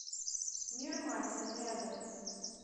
мир масел рядом